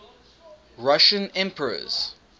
russian emperors